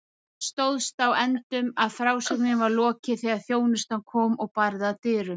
Það stóðst á endum að frásögninni var lokið þegar þjónustan kom og barði að dyrum.